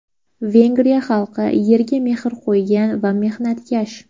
Vengriya xalqi yerga mehr qo‘ygan va mehnatkash.